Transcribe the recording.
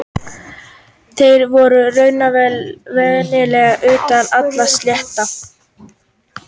Þeir voru raunverulega utan allra stétta.